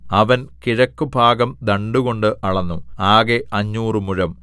അവൻ കിഴക്കുഭാഗം ദണ്ഡുകൊണ്ട് അളന്നു ആകെ അഞ്ഞൂറ് മുഴം